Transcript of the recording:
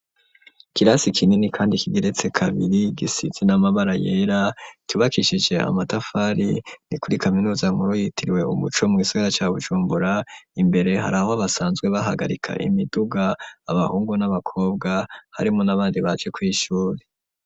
ikirasi kinini kandi kigeretse kabiri gisize n'amabara yera cubakishije amatafari, ni kuri kaminuza nkuru yitiriwe umuco mu gisagara ca Bujumbura, imbere hari aho basanzwe bahagarika imiduga abahungu n'abakobwa harimo n'abandi baje kw,ishure.